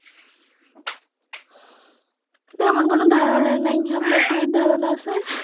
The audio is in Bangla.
তেমন কোনো ধারনা নাই আপনার কি ধারনা আছে?